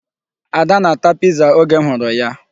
Ada na-ata Piza oge m hụrụ ya.